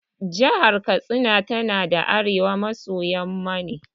Jahar Katsina tana arewa maso yamma ne.